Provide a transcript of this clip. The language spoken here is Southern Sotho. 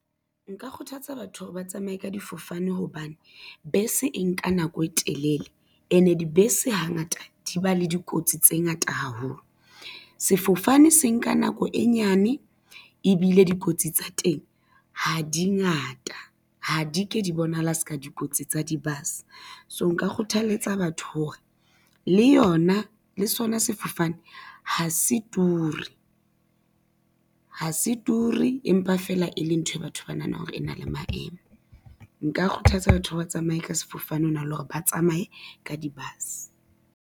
Nka kgothatsa batho hore ba tsamaye ka difofane hobane, bese e nka nako e telele ene dibese hangata di ba le dikotsi tse ngata haholo. Sefofane se nka nako e nyane, ebile dikotsi tsa teng ha di ngata ha di ke di bonahala se ka dikotsi tsa di-bus, so nka kgothaletsa batho hore le sona sefofane ha se ture, empa feela e le nthwe batho ba nahanang hore e na le maemo. Nka kgothatsa batho ba tsamaye ka sefofane ho na le hore ba tsamaye ka di-bus.